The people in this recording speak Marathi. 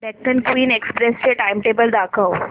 डेक्कन क्वीन एक्सप्रेस चे टाइमटेबल दाखव